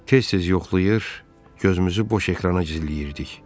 Tez-tez yoxlayır, gözümüzü boş ekrana zilləyirdik.